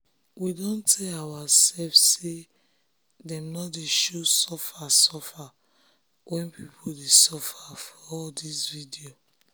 we don tell oursef say dem nor dey show suffer suffer wey pipo dey suffer for all dis video